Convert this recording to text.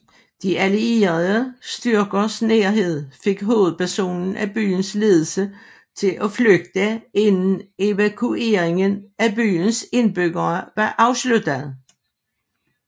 De allierede styrkers nærhed fik hovedparten af byens ledelse til at flygte inden evakueringen af byens indbyggere var afsluttet